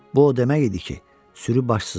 Bu o demək idi ki, sürü başsızdı.